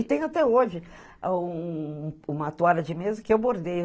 E tem até hoje um um uma toalha de mesa que eu bordei.